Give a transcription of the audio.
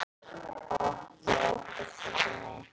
Otti óttast ekki neitt!